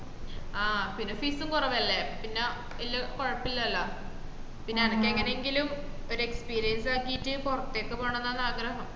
ആഹ് പിന്ന fees ഉം കൊറവല്ലേ പിന്ന ല്ലാ കൊയപ്പല്ലല പിന്ന എനക്ക് എങ്ങനെങ്കിലും ഒര് experience ആക്കീറ്റ് പൊറത്തേക്ക് പോണൊന്നാണ് ആഗ്രഹം